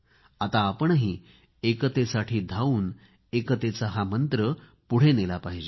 आता आपणही एकतेसाठी धावून एकतेचा मंत्र पुढे नेला पाहिजे